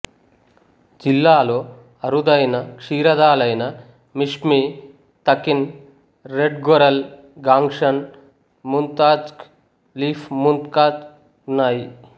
జిల్లాలో అరుదైన క్షీరదాలైన Mishmi takin red goral Gongshan muntjac leaf muntjac ఉన్నాయి